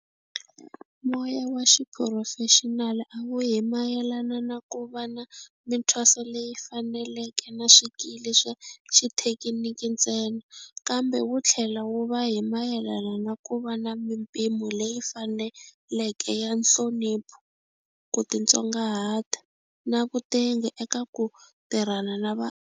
Moya wa xiphurofexinali a wu hi mayelana na ku va na mithwaso leyi faneleke na swikili swa xithekiniki ntsena, kambe wu tlhela wu va hi mayelana na ku va na mipimo leyi faneleke ya nhlonipho, ku titsongahata na vutengi eka ku tirhana na va.